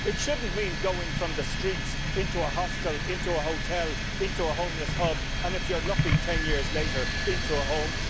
It shouldn't mean going from the streets into a hostel, into a hotel, into a homeless hub and, if you're lucky 10 years later into a home.